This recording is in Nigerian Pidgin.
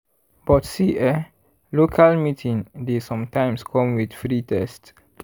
but see eh local meeting dey sometimes come with free test.